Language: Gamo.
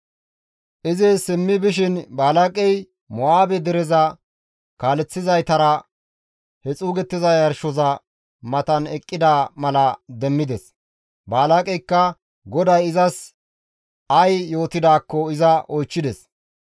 Izi simmi bishin Balaaqey Mo7aabe dereza kaaleththizaytara he xuugettiza yarshoza matan eqqida mala demmides; Balaaqeyka GODAY izas ay yootidaakko iza oychchides.